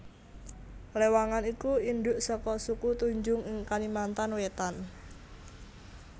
Lewangan iku indhuk saka suku Tunjung ing Kalimantan Wétan